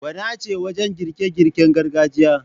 Gwana ce wajen girke girken gargajiya.